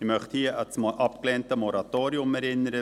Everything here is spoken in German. Ich möchte hier an das abgelehnte Moratorium erinnern.